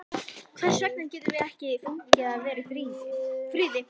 Hvers vegna getum við ekki fengið að vera í friði?